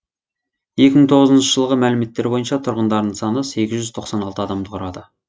екі мың тоғызыншы жылғы мәліметтер бойынша тұрғындарының саны сегіз жүз тоқсан алты адамды құрады